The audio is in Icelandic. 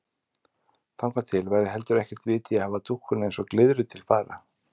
Þangað til væri heldur ekkert vit í að hafa dúkkuna eins og glyðru til fara.